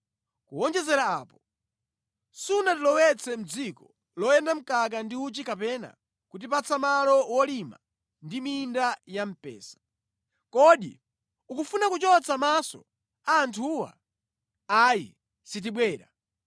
Kuwonjezera apo, sunatilowetse mʼdziko loyenda mkaka ndi uchi kapena kutipatsa malo wolima ndi minda ya mpesa. Kodi ukufuna kuchotsa maso a anthuwa? Ayi, sitibwera!”